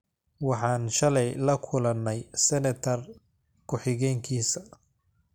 Waxaan shalay la kulanay seneter ku xigeenkisa